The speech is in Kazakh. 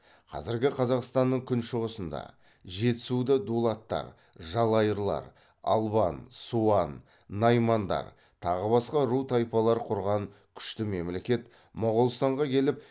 қазіргі қазақстанның күншығысында жетісуда дулаттар жалайырлар албан суан наймандар тағы басқа ру тайпалар құрған күшті мемлекет моғолстанға келіп